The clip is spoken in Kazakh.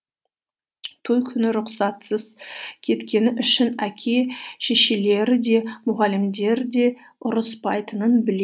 той күні рұқсатсыз кеткені үшін әке шешелері де мұғалімдері де ұрыспайтынын